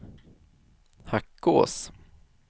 Hackås